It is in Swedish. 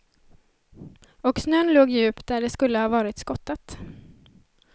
Och snön låg djup där det skulle ha varit skottat.